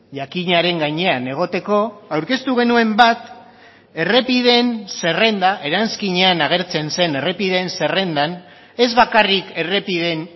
jakinaren gainean egoteko aurkeztu genuen bat errepideen zerrenda eranskinean agertzen zen errepideen zerrendan ez bakarrik errepideen